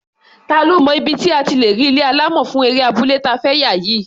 Ta ló mọ ibi tí a ti lè rí ilé alámọ̀ fún eré abúlé ta fẹ́ yà yìí?